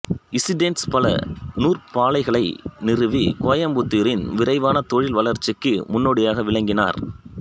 Stanes பல நூற்பாலைகளை நிறுவி கோயம்புத்தூரின் விரைவான தொழில் வளர்ச்சிக்கு முன்னோடியாக விளங்கினார்